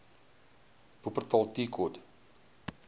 wupperthal tea court